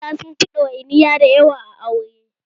Maza sunfi ɗawainiya da yawa a aure